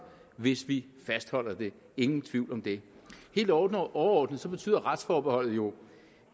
hvis vi fastholder det ingen tvivl om det helt overordnet betyder retsforbeholdet jo